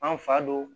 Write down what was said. An fa don